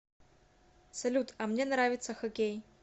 салют а мне нравится хоккей